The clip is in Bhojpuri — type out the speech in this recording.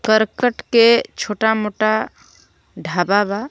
करकट के छोटा - मोटा ढाबा बा.